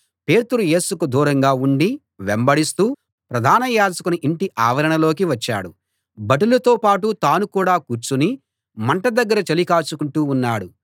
పేతురు యేసుకు దూరంగా ఉండి వెంబడిస్తూ ప్రధాన యాజకుని ఇంటి ఆవరణలోకి వచ్చాడు భటులతో పాటు తాను కూడా కూర్చుని మంట దగ్గర చలి కాచుకుంటూ ఉన్నాడు